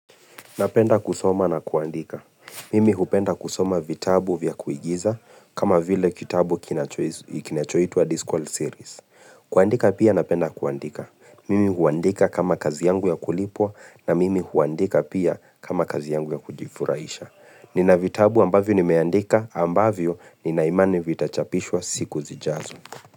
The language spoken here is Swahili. Napenda kusoma na kuandika. Mimi hupenda kusoma vitabu vya kuigiza kama vile kitabu kinacho kinachoitwa Disqual Series. Kuandika pia napenda kuandika. Mimi huandika kama kazi yangu ya kulipwa na mimi huandika pia kama kazi yangu ya kujifuraisha. Nina vitabu ambavyo nimeandika ambavyo nina imani vitachapishwa siku zijazo.